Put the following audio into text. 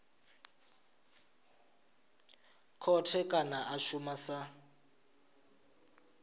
khothe kana a shuma sa